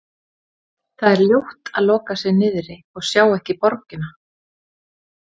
Það er ljótt að loka sig niðri og sjá ekki borgina.